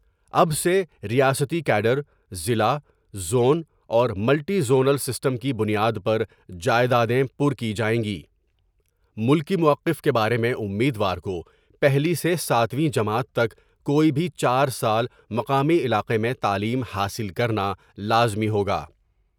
اب سے ریاستی کیڈر ضلع ، زون اور ملٹی زونل سسٹم کی بنیاد پر جائدادے میں پر کی جائیں گی ملکی موقف کے بارے میں امیدوار کو پہلی سے ساتوی جماعت تک کوئی بھی چار سال مقامی علاقے میں تعلیم حاصل کر نالازمی ہوگا ۔